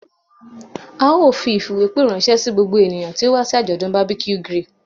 A yoo fi ifiwepe ranṣẹ si gbogbo eniyan ti o wa si ajọdun barbeque grill